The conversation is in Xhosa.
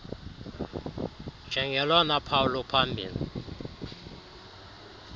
njengolona phawu luphambili